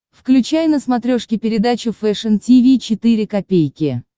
включай на смотрешке передачу фэшн ти ви четыре ка